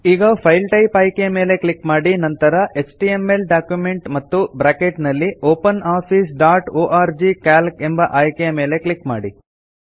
ಈಗ file type ಆಯ್ಕೆ ಮೇಲೆ ಕ್ಲಿಕ್ ಮಾಡಿ ನಂತರ ಎಚ್ಟಿಎಂಎಲ್ ಡಾಕ್ಯುಮೆಂಟ್ ಮತ್ತು ಬ್ರಾಕೆಟ್ ನಲ್ಲಿ ಒಪನೊಫೈಸ್ ಡಾಟ್ ಒರ್ಗ್ ಸಿಎಎಲ್ಸಿ ಎಂಬ ಆಯ್ಕೆ ಮೇಲೆ ಕ್ಲಿಕ್ ಮಾಡಿ